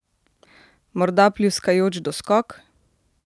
Morda pljuskajoč doskok?